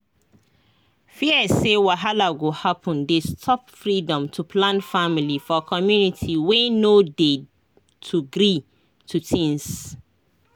fear say wahala go happen dey stop freedom to plan family for community wey no dey to agree to things